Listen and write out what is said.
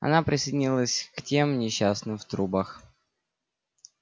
она присоединилась к тем несчастным в трубах